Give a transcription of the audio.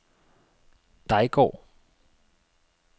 Dejgård